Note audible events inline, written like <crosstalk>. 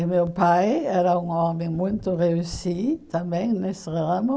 E meu pai era um homem muito <unintelligible> também nesse ramo.